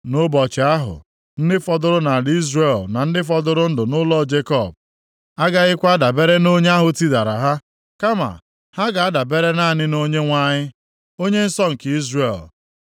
Nʼụbọchị ahụ, ndị fọdụrụ nʼala Izrel, na ndị fọdụrụ ndụ nʼụlọ Jekọb, agaghịkwa adabere nʼonye + 10:20 Nʼebe a na-ekwu banyere mba Asịrịa. ahụ tidara ha, kama ha ga-adabere naanị na Onyenwe anyị, Onye nsọ nke Izrel.